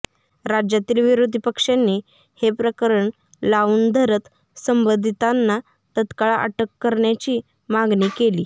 राज्यातील विरोधी पक्षांनी हे प्रकरण लावून धरत संबंधितांना तत्काळ अटक करण्याची मागणी केली